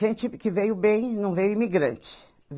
Gente que veio bem, não veio imigrante.